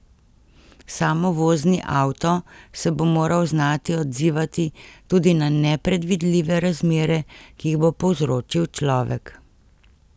Samovozni avto se bo moral znati odzivati tudi na nepredvidljive razmere, ki jih bo povzročil človek.